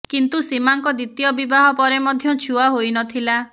କିନ୍ତୁ ସୀମାଙ୍କ ଦ୍ବିତୀୟ ବିବାହ ପରେ ମଧ୍ୟ ଛୁଆ ହୋଇନଥିଲା